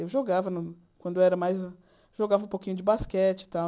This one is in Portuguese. Eu jogava no quando era mais... Jogava um pouquinho de basquete e tal.